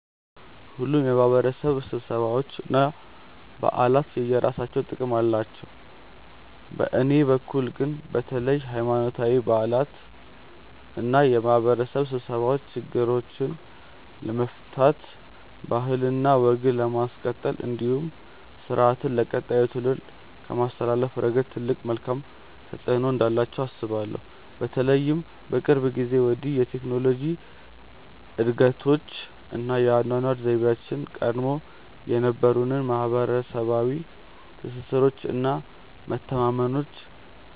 ሁሉም የማህበረሰብ ስብሰባዎች እና በዓላት የየራሳቸው ጥቅም አላቸው። በእኔ በኩል ግን በተለይ ሀይማኖታዊ በዓላት እና የማህበረሰብ ስብሰባዎች ችግሮችን ለመፍታት ባህልና ወግን ለማስቀጠል እንዲሁም ስርአትን ለቀጣዩ ትውልድ ከማስተላለፍ ረገድ ትልቅ መልካም ተፆዕኖ እንዳላቸው አስባለሁ። በተለይም ከቅርብ ጊዜ ወዲህ የቴክኖሎጂ እድገቶች እና የአኗኗር ዘይቤያችን ቀድሞ የነበሩንን ማህበረሰባዊ ትስስሮች እና መተማመኖች